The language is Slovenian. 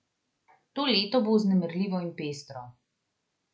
To leto bo vznemirljivo in pestro.